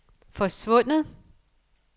forsvundet